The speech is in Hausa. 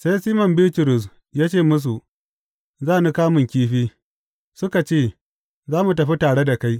Sai Siman Bitrus ya ce musu, Za ni kamun kifi, suka ce, Za mu tafi tare da kai.